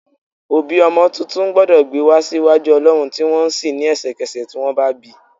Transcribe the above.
Òbí ọmọ tuntun gbọ́dọ̀ gbé wa sí iwájú olọrun tí wọ́n ń sìn ní ẹsẹkese tí wọ́n bá bi.